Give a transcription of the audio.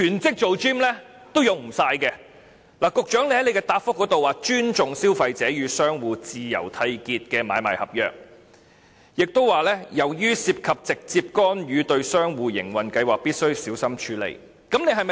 局長在主體答覆中說會"尊重消費者與商戶自由締結的買賣合約"，亦提到"由於涉及直接干預對商戶營運計劃，必須小心處理"。